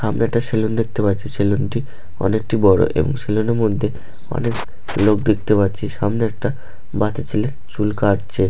আমি একটি স্যালুন দেখতে পাচ্ছি। স্যালুন টি অনেকটি বড়। স্যালুন টির মধ্যে অনেক লোক দেখতে পাচ্ছি। সামনে একটা বাচ্চা ছেলে চুল কাটছে--